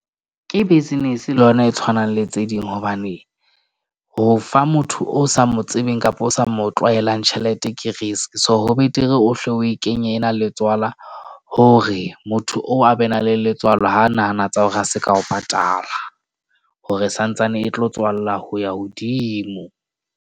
Ke business le yona e tshwanang le tse ding, hobane ho fa motho o sa mo tsebeng kapa o sa mo tlwaelang tjhelete ke risk. So, ho betere ohle o e kenye na le tswala hore motho oo a be na le letswalo ha nahana tsa hore a se ka o patala. Hore santsane e tlo tswalla ho ya hodimo.